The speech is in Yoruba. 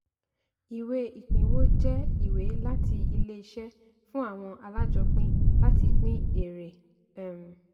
ìwé ìpínwó jẹ́ ìwé láti ilé iṣẹ́ fún àwọn alájọpin láti pín èèrè. um